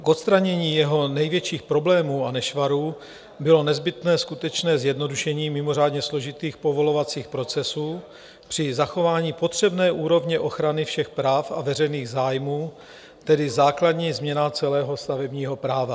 K odstranění jeho největších problémů a nešvarů bylo nezbytné skutečné zjednodušení mimořádně složitých povolovacích procesů při zachování potřebné úrovně ochrany všech práv a veřejných zájmů, tedy základní změna celého stavebního práva.